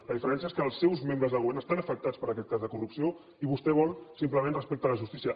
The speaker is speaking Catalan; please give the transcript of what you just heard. la diferència és que els seus membres de govern estan afectats per aquest cas de corrupció i vostè vol simplement respecte a la justícia